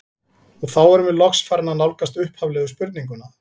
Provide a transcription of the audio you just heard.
Og þá erum við loks farin að nálgast upphaflegu spurninguna.